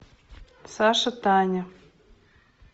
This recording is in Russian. саша таня